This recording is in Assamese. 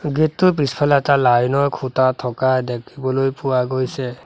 গেট টোৰ পিছফালে এটা লাইন ৰ খুঁটা থকা দেখিবলৈ পোৱা গৈছে।